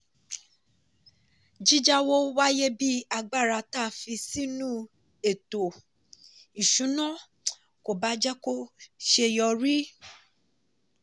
jíjàwọ́ wáyé bí agbára tá fi sínú ètò-ìṣúnà kò bá jẹ́ kó ṣeyọrí.